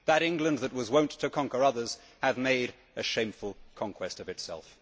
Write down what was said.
That England that was wont to conquer others Hath made a shameful conquest of itself.'